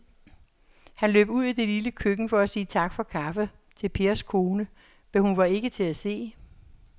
Han løb ud i det lille køkken for at sige tak for kaffe til Pers kone, men hun var ikke til at se.